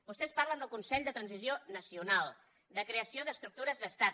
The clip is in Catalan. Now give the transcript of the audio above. vostès parlen del consell de transició nacional de creació d’estructures d’estat